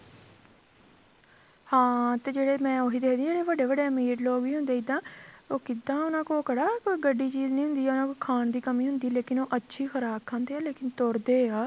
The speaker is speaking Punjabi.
ਹਾਂ ਤੇ ਜਿਹੜੇ ਮੈਂ ਉਹੀ ਦੇਖਦੀ ਜਿਹੜੇ ਵੱਡੇ ਵੱਡੇ ਵੀ ਅਮੀਰ ਲੋਕ ਵੀ ਹੁੰਦੇ ਇੱਦਾਂ ਉਹ ਕਿੱਦਾਂ ਉਹਨਾ ਕੋਲ ਗੱਡੀ ਚੀਜ਼ ਦੀ ਕਮੀ ਹੁੰਦੀ ਉਹਨਾ ਕੋਲ ਖਾਣ ਦੀ ਕਮੀਂ ਹੁੰਦੀ ਆ ਲੇਕਿਨ ਉਹ ਅੱਛੀ ਖ਼ੁਰਾਕ ਖਾਦੇਂ ਏ ਲੇਕਿਨ ਤੁਰਦੇ ਆ